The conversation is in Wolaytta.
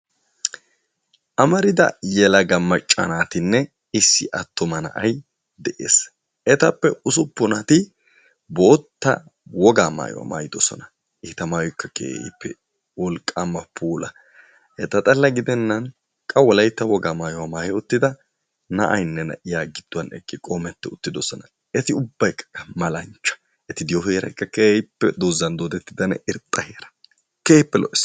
Amarida yelaga macca naatinne issi attuma na'ay de'ees, etappe ussuppunati boottaa wogaa maayuwa maayiddosona. Eta maayoykka keehippe wolqqaama puula eta xala gidenan qa wolaytta wogaa maayuwa maayi uttida na'aynne na'iya giduwan eqi qommeti uttiuttidossona. Eti ubbaykka malanchcha, eti diyo heeraykka doozan doodetidda irxxa heera, keehippe lo'ees.